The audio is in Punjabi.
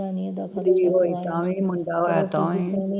ਜਿੰਨੀ ਵਾਰੀ ਤਾਂ ਵੀ ਮੁੰਡਾ ਹੋਇਆ ਤਾਂ ਵੀ